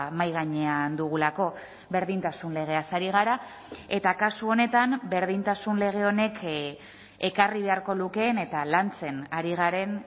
mahai gainean dugulako berdintasun legeaz ari gara eta kasu honetan berdintasun lege honek ekarri beharko lukeen eta lantzen ari garen